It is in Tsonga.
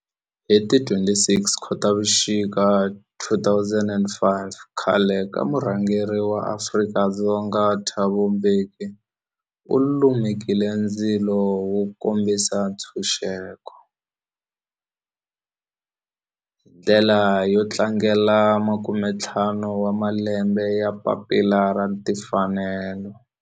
Hi ti 26 Khotavuxika 2005 khale ka murhangeri wa Afrika-Dzonga Thabo Mbeki u lumekile ndzilo wo kombisa ntshuxeko, hi ndlela yo tlangela makume-ntlhanu wa malembe ya papila ra timfanelo, Freedom Charter.